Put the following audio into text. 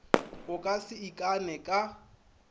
o ka se ikane ka